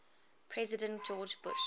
president george bush